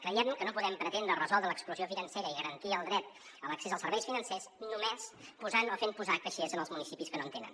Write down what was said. creiem que no podem pretendre resoldre l’exclusió financera i garantir el dret a l’accés als serveis financers només posant o fent posar caixers en els municipis que no en tenen